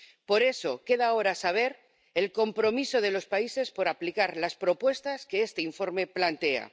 Por eso queda ahora conocer el compromiso de los países por aplicar las propuestas que este informe plantea.